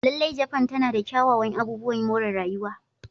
Lallai, Japan tana da kyawawan abubuwan more rayuwa.